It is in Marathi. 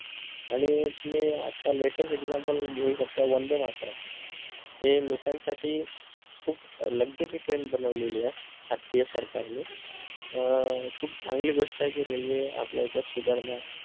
आणि तुम्ही आता latest example घेऊ शकता वंदे मातरम ते लोकांसाठी खूष luxury train बनवलेली ए आत्त्ता या सरकारनी अं खूप चांगली गोष्ट आहे कि railway आपल्याइथे सुधारणा